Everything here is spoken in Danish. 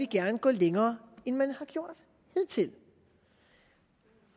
gerne gå længere end man har gjort hidtil